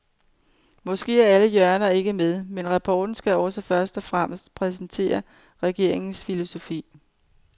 Måske er alle hjørner ikke med, men rapporten skal også først og fremmest præsentere regeringens filosofi.